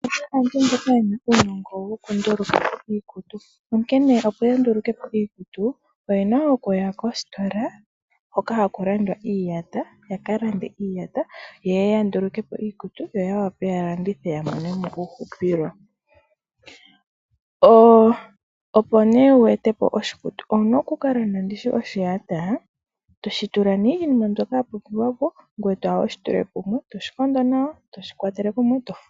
Aantu mboka yena uunongo woku nduluka iikutu nonkene opo ya ndulukepo iikutu oye na oku ya kostola hoka haku landwa iiyata, yaka lande iiyata yeye ya ndulukepo iikutu yo ya wape ya landithe ya mone mo uuhupilo. Opo nee wu ete po oshikutu owu na oku landa ndishi oshiyata, toshi tula nee iinima mbyoka ya pumbiwa po ngwee toya wushi tule kumwe, toshi kondo nawa toshi kwatele kumwe.